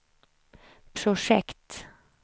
projekt